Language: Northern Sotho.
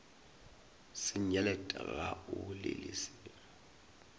senyelet ga o bolele selo